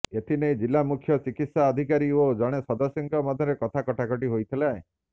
ଏଥି ନେଇ ଜିଲ୍ଲାମୁଖ୍ୟ ଚିକିତ୍ସା ଅଧିକାରୀ ଓ ଜଣେ ସଦସ୍ୟଙ୍କ ମଧ୍ୟରେ କଥା କଟାକଟି ହୋଇଥିଲେ